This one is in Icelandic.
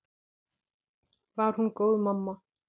Var hún góð mamma?